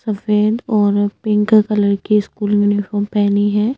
सफेद और pink colour की स्कूल यूनिफार्म पहनी है।